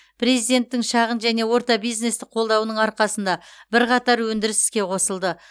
президенттің шағын және орта бизнесті қолдауының арқасында бірқатар өндіріс іске қосылды